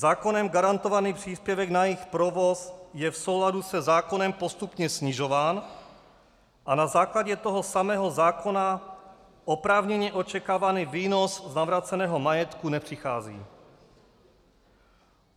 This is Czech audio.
Zákonem garantovaný příspěvek na jejich provoz je v souladu se zákonem postupně snižován a na základě toho samého zákona oprávněně očekávaný výnos z navráceného majetku nepřichází.